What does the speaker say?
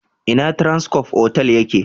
Ina Transcorp otal ya ke?